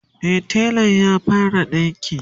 e telan ya fara dinki